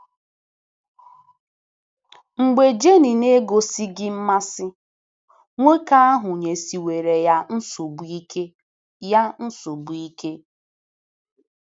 Mgbe Jenny na - egosighị mmasị, nwoke ahụ nyesiwere ya nsogbu ike ya nsogbu ike.